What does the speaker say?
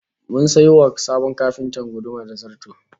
Mun sayo wa sabon kafintan guduma da zarto